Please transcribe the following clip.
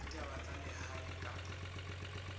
ya ditaba tsa lehae kapa